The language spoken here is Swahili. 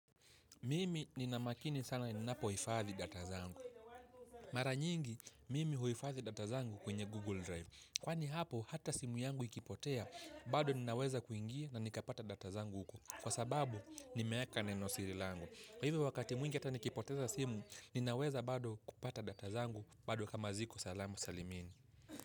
Mimi nina makini sana ninapo hifadhi data zangu. Mara nyingi, mimi huhifadhi data zangu kwenye Google Drive. Kwani hapo, hata simu yangu ikipotea, bado ninaweza kuingia na nikapata data zangu huko. Kwa sababu, nimeaka nenosiri langu. Kwa hivyo wakati mwingi ata nikipoteza simu, ninaweza bado kupata data zangu, bado kama ziko salamu salimini.